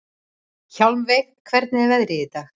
Hjálmveig, hvernig er veðrið í dag?